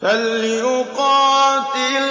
۞ فَلْيُقَاتِلْ